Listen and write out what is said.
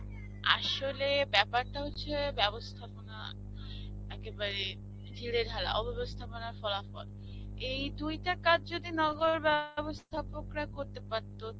আসলে বাপ্যারটা হচ্ছে, ব্যবস্থাপনা একেবারে ঢিলেঢালা. অব্যবস্থাপনার ফলাফল. এই দুইটা কাজ যদি নগর বাব্যস্থাপকরা করতে পারতো,